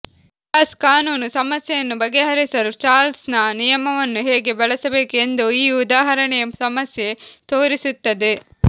gas ಕಾನೂನು ಸಮಸ್ಯೆಯನ್ನು ಬಗೆಹರಿಸಲು ಚಾರ್ಲ್ಸ್ನ ನಿಯಮವನ್ನು ಹೇಗೆ ಬಳಸಬೇಕು ಎಂದು ಈ ಉದಾಹರಣೆಯ ಸಮಸ್ಯೆ ತೋರಿಸುತ್ತದೆ